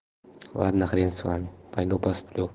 ладно хрен с вами пойду посплю